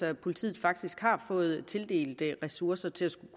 at politiet faktisk har fået tildelt ressourcer til at